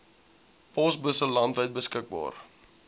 posbusse landwyd beskikbaar